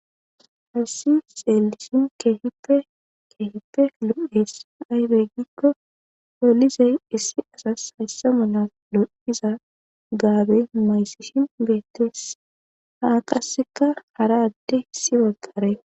Hassi xeelisin keehipe keehippe lu'es aybeeggikko polizey issi asas hayssa mula lo'iza gaabe mayssishin beettes haa qasseka hara adde hissi baggare.